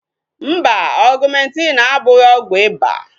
Mba, Ọgumentin abụghị ọgwụ iba